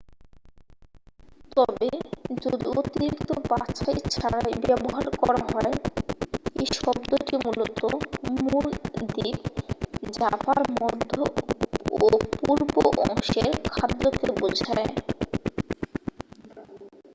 তবে যদি অতিরিক্ত বাছাই ছাড়াই ব্যবহার করা হয় এই শব্দটি মূলত মূল দ্বীপ জাভার মধ্য ও পূর্ব অংশের খাদ্যকে বোঝায়